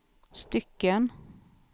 stycken